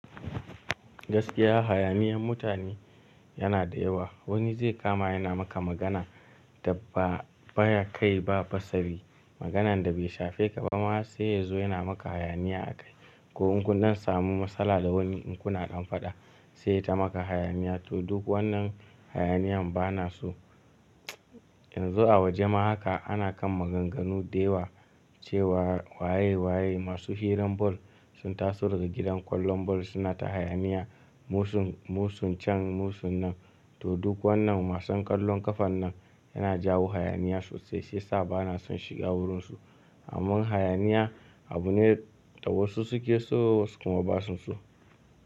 Gaskiya hayaniyan mutane yana da yawa. Wani zai kama yana maka magana da ba baya kai ba basari. Maganan da bai shafe ka ba ma sai ya zo yana maka hayaniya a kai. Ko in kun nan samu matsala da wani in kuna dan faɗa sai ya ta maka hayaniya. To duk wannan hayaniyan bana so. Yanzu a waje ma haka ana kan maganganu da yawa cewa waye waye masu hirar bol sun taso daga gidan ƙwallon bol suna ta hayaniya. Musun, musun can musun nan. To duk wannan masan ƙwallon ƙafa nan yana jawo hayaniya sosai sai sa bana son shiga wurinsu. Amman hayaniya abu ne da wasu suke so wasu kuma ba su so.